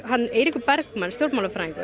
Eiríkur Bergmann